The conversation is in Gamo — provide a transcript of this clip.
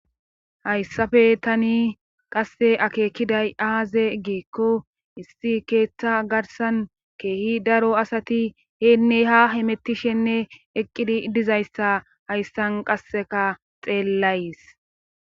Hayssafe tani qasse akeekiday aaze geekko issi keeththa garsan keehi daro asati heenne ha himettishenne eqqidi dizayssa hayssan qasseka xeellays